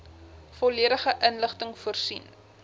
volledige inligting voorsien